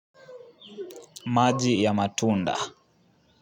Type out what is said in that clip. Maji ya matunda.